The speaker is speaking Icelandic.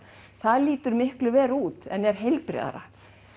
það lítur miklu verr út en er heilbrigðara